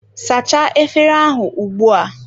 Sachaa efere ahụ ugbua!